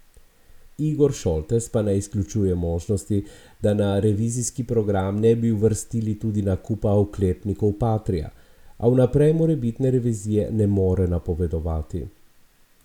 Igor Šoltes pa ne izključuje možnosti, da na revizijski program ne bi uvrstili tudi nakupa oklepnikov patria, a vnaprej morebitne revizije ne more napovedovati.